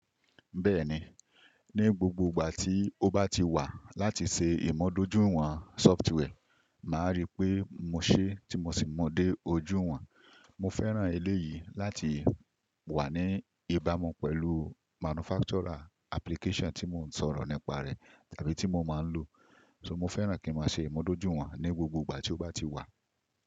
Bẹ́ẹ̀ni, ní gbogbo ìgbà tí ó bá ti wà láti ṣe ìmọ̀ dojúwọn software, màá rí pé mo ṣé tí mo sì mọ dé ojú wọn. Mo fẹ́ràn eléyìí láti wà ní ìbámu pẹ̀lú manufacturer application tí mò ń sọ̀rọ̀ nípa rẹ̀ tàbí tí mo máa ń lò. So mo fẹ́ràn kí mo ṣe ìmọ̀ dojúwọ́n ní gbogbo ìgbà tí ó bá ti wà.